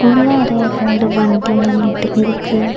முன்னாடியே ரெண்டு வண்டி நின்னுட்டு இருக்கு.